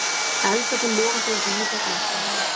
Eldarnir loga þó víða ennþá.